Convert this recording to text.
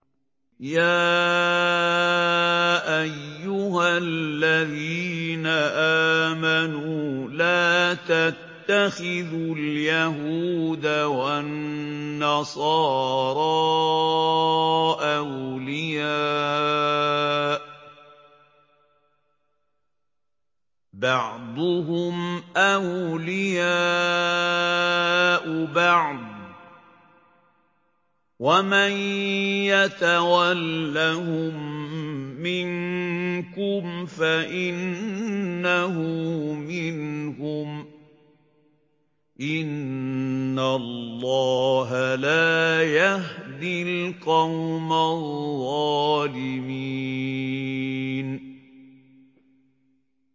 ۞ يَا أَيُّهَا الَّذِينَ آمَنُوا لَا تَتَّخِذُوا الْيَهُودَ وَالنَّصَارَىٰ أَوْلِيَاءَ ۘ بَعْضُهُمْ أَوْلِيَاءُ بَعْضٍ ۚ وَمَن يَتَوَلَّهُم مِّنكُمْ فَإِنَّهُ مِنْهُمْ ۗ إِنَّ اللَّهَ لَا يَهْدِي الْقَوْمَ الظَّالِمِينَ